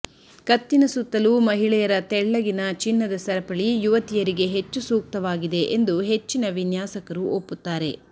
ಕತ್ತಿನ ಸುತ್ತಲೂ ಮಹಿಳೆಯರ ತೆಳ್ಳಗಿನ ಚಿನ್ನದ ಸರಪಳಿ ಯುವತಿಯರಿಗೆ ಹೆಚ್ಚು ಸೂಕ್ತವಾಗಿದೆ ಎಂದು ಹೆಚ್ಚಿನ ವಿನ್ಯಾಸಕರು ಒಪ್ಪುತ್ತಾರೆ